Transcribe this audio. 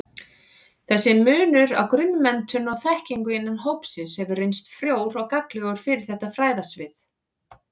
Þessi munur á grunnmenntun og-þekkingu innan hópsins hefur reynst frjór og gagnlegur fyrir þetta fræðasvið.